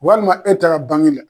Walima e taara bangi la